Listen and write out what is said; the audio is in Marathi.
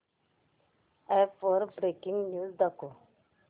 अॅप वर ब्रेकिंग न्यूज दाखव